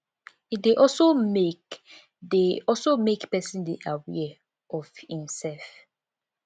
e de also make de also make persin de aware of im self